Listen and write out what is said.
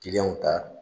Kiliyanw ta